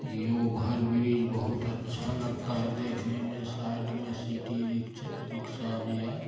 ये ओवरब्रिज बहुत अच्छा लगता है देखने में साइड में सिटी रिक्श_ रिक्शा भी है।